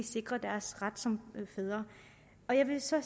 sikre deres ret som fædre på jeg vil så